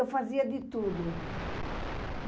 Eu fazia de tudo.